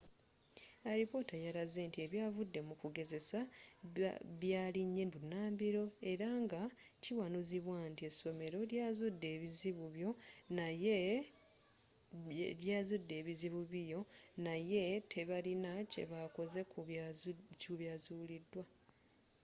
alipoota yalaze nti ebyavudde mu kugezesa byalinye bunambiro era nga kiwanuuzibwa nti essomero lyazudde ebizibu bio naye tebalina kyebakoze ku byazuulidwa